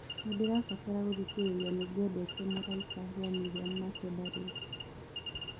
nĩndĩrabatara gũthĩkĩrĩrĩa nĩngwendete mũraĩka rwa miriam makeba riu